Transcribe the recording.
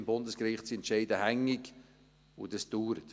beim Bundesgericht sind Entscheide hängig, und dies dauert.